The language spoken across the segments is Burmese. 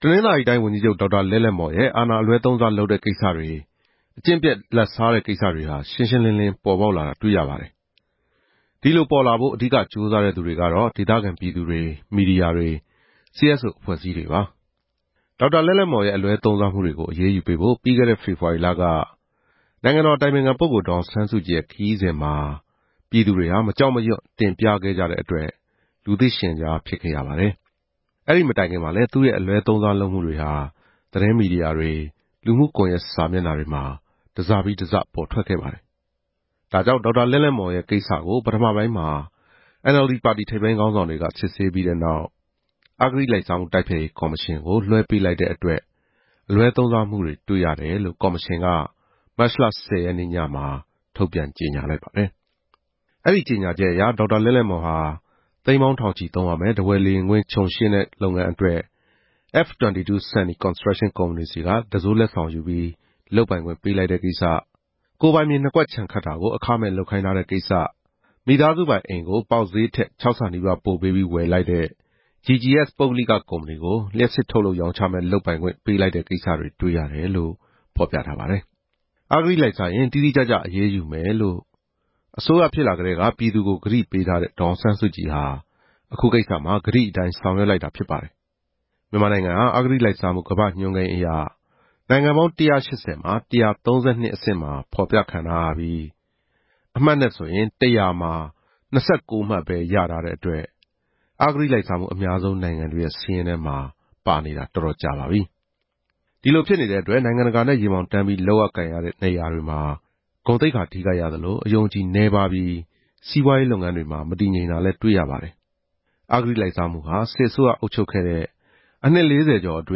တနင်္သာရီတိုင်း ဝန်ကြီးချုပ် ဒေါက်တာလဲ့လဲ့မော်ရဲ့ အာဏာအလွဲသုံးစား လုပ်တဲ့ကိစ္စတွေ၊ အကျင့်ပျက် လာဘ်စားတဲ့ကိစ္စတွေဟာ ရှင်းရှင်းလင်းလင်း ပေါ်ပေါက်လာတာတွေ့ရပါတယ်။ ဒီလိုပေါ်လာဖို့ အဓိက ကြိုးစားတဲ့သူတွေကတော့ ဒေသခံပြည်သူတွေ၊ မီဒီယာတွေ၊ CSO အဖွဲ့အစည်းတွေပါ။ ဒေါက်တာလဲ့လဲ့မော်ရဲ့ အလွဲသုံးစားမှုတွေကို အရေးယူပေးဖို့ ပြီးခဲ့တဲ့ ဖေဖော်ရီလက နိုင်ငံတော် အတိုင်ပင်ခံပုဂ္ဂိုလ် ဒေါ်အောင်ဆန်းစုကြည်ရဲ့ ခရီးစဉ်မှာ ပြည်သူတွေဟာ မကြောက်မရွံ့ တင်ပြခဲ့ကြတဲ့အတွက် လူသိရှင်ကြားဖြစ်ခဲ့ရပါတယ်။ အဲဒီ မတိုင်ခင်မှာလဲ သူ့ရဲ့ အလွဲသုံးစားမှုတွေဟာ သတင်းမီဒီယာတွေ၊ လူမှုကွန်ရက ်စာမျက်နှာတွေမှာ တစ်စပြီးတစ်စ ပေါ်ထွက်ခဲ့ပါတယ်။ ဒါကြောင့် ဒေါက်တာလဲ့လဲ့မော် ကိစ္စကို ပထမပိုင်းမှာ NLD ပါတီက စစ်ဆေးပြီးတဲ့နောက်၊ အဂတိလိုက်စားမှု တိုက်ဖျက်ရေးကော်မရှင်ကို လွှဲပေးလိုက်တဲ့အတွက် အလွဲသုံးစားမှုတွေ တွေ့ရတယ်လို့ ကော်မရှင်က မတ်လ ၁၀ ရက်နေ့ ညမှာ ထုတ်ပြန် ကြေညာလိုက်ပါတယ်။ အဲဒီ ကြေညာချက်အရ ဒေါက်တာလဲ့လဲ့မော်ဟာ သိန်းပေါင်း ထောင်ချီသုံးရမယ့် ထားဝယ်လေယာဉ်ကွင်း ခြုံရှင်းတဲ့လုပ်ငန်း အတွက် F-22 Sunny Construction ကုမ္ပဏီ ဆီက တံစိုးလက်ဆောင်ယူပြီး လုပ်ပိုင်ခွင့်ပေးလိုက်တဲ့ ကိစ္စ၊ ကိုယ်ပိုင်မြေ နှစ်ကွက် ခြံခတ်တာကို အခမဲ့လုပ်ခိုင်းထားတဲ့ကိစ္စ၊ ကိုယ်ပိုင်အိမ်ကို ပေါက်ဈေး ထက် ၆ ဆနီးပါး ပိုပေးပြီး ဝယ်တဲ့ GGS ပုဂ္ဂလိက ကုမ္ပဏီကို လျပ်စစ်ထုတ်လုပ်ရောင်းချမယ့် လုပ်ပိုင်ခွင့် ပေးလိုက်တဲ့ကိစ္စတွေ့ရတယ် လို့ဆိုပါတယ်။ အဂတိလိုက်စားရင် တိတိကျကျ အရေးယူမယ်လို့ အစိုးရ ဖြစ်လာကတည်းက ပြည်သူကို ကတိပေး ထားတဲ့ ဒေါ်အောင်ဆန်းစုကြည်ဟာ အခု ကိစ္စမှာ ကတိအတိုင်း ဆောင်ရွက်လိုက်တာဖြစ်ပါတယ်။ မြန်မာနိုင်ငံဟာ အဂတိလိုက်စားမှု ကမ္ဘာ့ညွှန်းကိန်းအရ နိုင်ငံပေါင်း ၁၈ဝ မှာ ၁၃၂ အဆင့်မှာ ဖော်ပြခံ ရပြီး၊ အမှတ်နဲ့ဆိုရင် ၁ဝဝ မှာ ၂၉ မှတ်ပဲ ရထားတဲ့အတွက် အဂတိလိုက်စားမှု အများဆုံး နိုင်ငံတွေရဲ့ စာရင်းထဲမှာ ပါနေပါတယ်။ ဒီလိုဖြစ်နေတဲ့အတွက် နိုင်ငံတကာနဲ့ ရင်ဘောင်တန်းပြီး လုပ်ရကိုင်ရတဲ့ နေရာတွေမှာ ဂုဏ်သိက္ခာ ထိခိုက်ရသလို၊ အယုံအကြည် နည်းပါးပြီး၊ စီးပွားရေး လုပ်ငန်းတွေမှာ မတည်ငြိမ်တာတွေ ကြုံရပါတယ်။ အဂတိလိုက်စားမှုဟာ စစ်အစိုးရ အုပ်ချုပ်ခဲ့တဲ့ အနှစ်လေးဆယ်ကျော်အတွ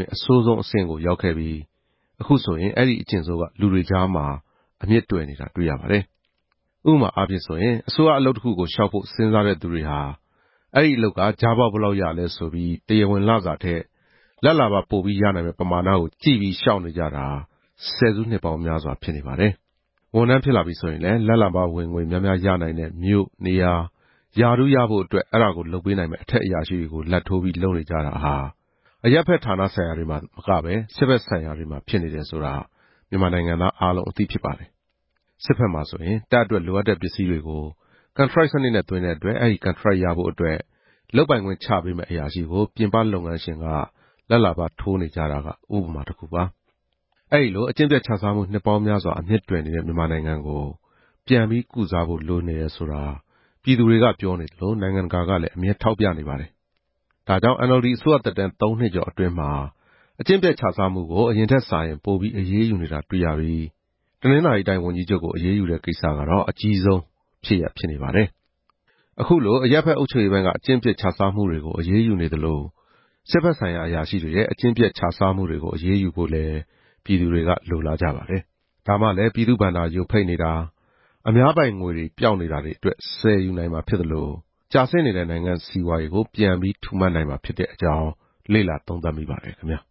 င်း အဆိုးဆုံး အဆင့်ကို ရောက်ခဲ့ပြီး၊ အခုဆိုရင် အဲဒီအကျင့်ဆိုးက လူတွေကြားမှာ အမြစ်တွယ်နေတာ တွေ့ရပါတယ်။ အစိုးရဝန်ထမ်း အလုပ်တခုကို လျှောက်ဖို့ စဉ်စားတဲ့သူတွေဟာ အဲဒီအလုပ်က ကြားပေါက် ဘယ်လောက်ရနိုင်လဲ ဆိုပြီး၊ တရားဝင်လစာထက်၊ လာဘ်လာဘရနိုင်မယ့် ပမာဏကို ကြည့်ပြီးလျှောက်နေကြတာ ဆယ်စုနှစ်ပေါင်း များစွာဖြစ်နေပါတယ်။ ဝန်ထမ်းဖြစ်လာပြီ ဆိုရင်လည်း လာဘ်လာဘ ဝင်ငွေများများရနိုင်တဲ့ မြို့၊ နေရာ၊ ရာထူး ရဖို့အတွက် အဲဒါကို လုပ်ပေးနိုင်မယ့် အထက်အရာရှိတွေကို လာဘ်ထိုးပြီး လုပ်နေကြတာဟာ အရပ်ဘက် ဌာနဆိုင်ရာတွေမှာ သာမကပဲ၊ စစ်ဘက်ဆိုင်ရာမှာပါ ဖြစ်နေတယ်ဆိုတာ မြန်မာနိုင်ငံသား အားလုံးအသိ ဖြစ်ပါတယ်။ စစ်ဘက်မှာဆိုရင် တပ်အတွက် လိုအပ်တဲ့ ပစ္စည်းတွေကို ကန်ထရိုက်စနစ်နဲ့ သွင်းတဲ့အတွက် အဲဒီကန်ထရိုက်ရဖို့အတွက် လုပ်ပိုင်ခွင့်ချပေးမယ့် အရာရှိကို ပြင်ပလုပ်ငန်းရှင်က လာဘ်လာဘ ထိုးနေကြတာက ဥပမာတခုပါ။ အဲဒီလို အကျင့်ပျက်ချစားမှု နှစ်ပေါင်းများစွာ အမြစ်တွယ်နေတဲ့ မြန်မာနိုင်ငံကို ပြန်ပြီး၊ ကုစားဖို့ လိုအပ်နေတယ်ဆိုတာ ပြည်သူတွေက ပြောနေသလို၊ နိုင်ငံတကာကလဲ အမြဲထောက်ပြနေပါတယ်။ ဒါကြောင့် NLD အစိုးရ သက်တမ်း ၃ နှစ်ကျော် အတွင်းမှာ အကျင့်ပျက်ချစားမှုကို အရင်ထက်စာရင် ပိုပြီး အရေးယူနေတာ တွေ့ရပြီး၊ တနင်္သာရီတိုင်း ဝန်ကြီးချုပ်ကို အရေးယူတဲ့ ကိစ္စကတော့ အကြီးဆုံးဖြစ်နေပါတယ်။ အခုလို အရပ်ဘက် အုပ်ချုပ်ရေးပိုင်းက အကျင့်ပျက်ချစားမှုတွေကို အရေးယူနေသလို၊ စစ်ဘက်ဆိုင်ရာ အရာရှိတွေရဲ့ အကျင့်ပျက်ချစားမှုတွေကို အရေးယူဖို့လည်း ပြည်သူတွေက လိုလားကြ ပါတယ်။ ဒါမှလဲ ပြည်သူ့ဘဏ္ဍာ ယိုဖိတ်နေတာ၊ အများပိုင်ငွေတွေ ပျောက်နေတာတွေအတွက် ဆယ်ယူနိုင်မှာ ဖြစ်သလို၊ ကျဆင်းနေတဲ့ နိုင်ငံ့စီးပွားရေးကိုလဲ ပြန်ပြီးထူမနိုင်မှာ ဖြစ်တဲ့အကြောင်း လေ့လာသုံးသပ်မိပါတယ်ခင်ဗျာ။